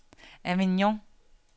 Avignon